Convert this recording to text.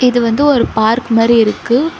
இது வந்து ஒரு பார்க் மாரி இருக்கு.